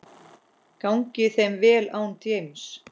Gangi þeim vel án James.